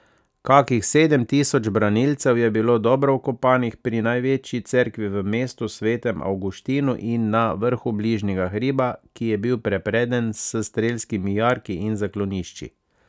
Kakih sedem tisoč branilcev je bilo dobro vkopanih pri največji cerkvi v mestu, svetem Avguštinu, in na vrhu bližnjega hriba, ki je bil prepreden s strelskimi jarki in zaklonišči.